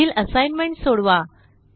पुढील असाइनमेंट सोडवा